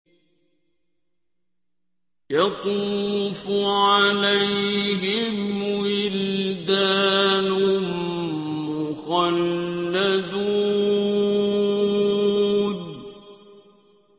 يَطُوفُ عَلَيْهِمْ وِلْدَانٌ مُّخَلَّدُونَ